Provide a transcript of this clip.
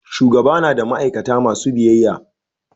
shugaba na da ma'aikata masu biyyaya